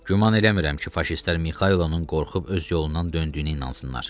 Güman eləmirəm ki, faşistlər Mixaylovun qorxub öz yolundan döndüyünə inansınlar.